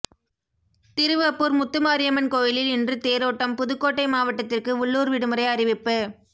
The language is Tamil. திருவப்பூர் முத்துமாரியம்மன் கோயிலில் இன்று தேரோட்டம் புதுக்கோட்டை மாவட்டத்திற்கு உள்ளூர் விடுமுறை அறிவிப்பு